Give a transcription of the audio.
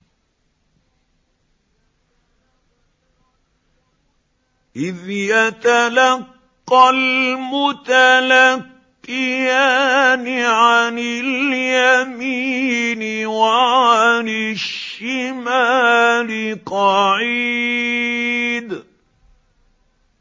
إِذْ يَتَلَقَّى الْمُتَلَقِّيَانِ عَنِ الْيَمِينِ وَعَنِ الشِّمَالِ قَعِيدٌ